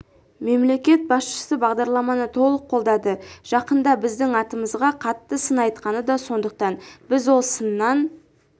мемлекет басшысы бағдарламаны толық қолдады жақында біздің атымызға қатты сын айтқаны да сондықтан біз ол сыннан